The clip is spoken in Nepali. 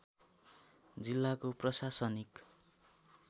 जिल्लाको प्रशासनिक